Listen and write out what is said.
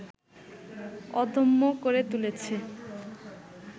অদম্য করে তুলেছে